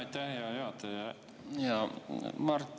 Aitäh, hea juhataja!